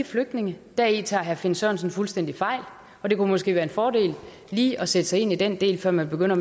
flygtninge deri tager herre finn sørensen fuldstændig fejl og det kunne måske være en fordel lige at sætte sig ind i den del før man begynder